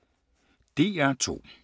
DR2